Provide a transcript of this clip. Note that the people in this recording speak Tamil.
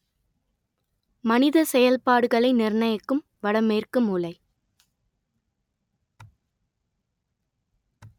மனித செயல்பாடுகளை நிர்ணயிக்கும் வட மேற்கு மூலை